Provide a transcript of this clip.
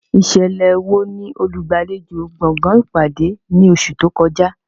Ìṣẹ̀lẹ̀ wo ni olùgbàlejò gbọ̀ngàn ìpàdé ní oṣù tó kọjá?